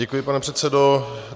Děkuji, pane předsedo.